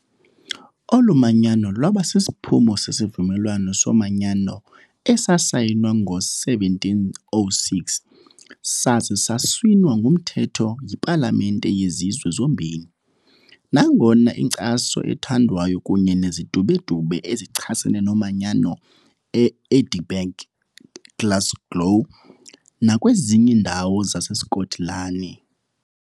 Olu manyano lwaba sisiphumo seSivumelwano soManyano esasayinwa ngo-1706 saza saswina ngumthetho yipalamente yezizwe zombini, nangona inkcaso ethandwayo kunye nezidubedube ezichasene nomanyano e-Edinburgh, eGlasgow nakwezinye iindawo zaseSkotlani.